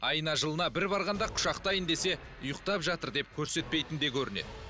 айына жылына бір барғанда құшақтайын десе ұйықтап жатыр деп көрсетпейтін де көрінеді